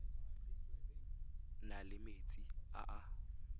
na le metsi a a